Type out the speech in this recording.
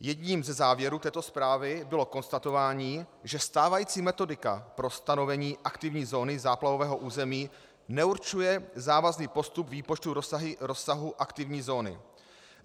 Jedním ze závěrů této zprávy bylo konstatování, že stávající metodika pro stanovení aktivní zóny záplavového území neurčuje závazný postup výpočtu rozsahu aktivní zóny.